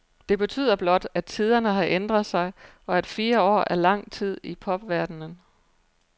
Det betyder blot, at tiderne har ændret sig, og at fire år er langt tid i popverdenen.